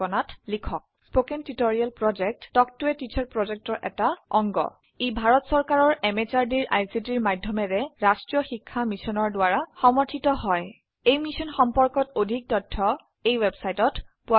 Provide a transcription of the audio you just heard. ই ভাৰত চৰকাৰৰ MHRDৰ ICTৰ মাধয়মেৰে ৰাস্ত্ৰীয় শিক্ষা মিছনৰ দ্ৱাৰা সমৰ্থিত হয় এই মিশ্যন সম্পৰ্কত অধিক তথ্য spoken hyphen tutorial dot org slash এনএমইআইচিত হাইফেন ইন্ট্ৰ ৱেবচাইটত পোৱা যাব